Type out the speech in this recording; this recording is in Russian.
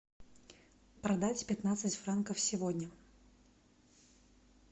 продать пятнадцать франков сегодня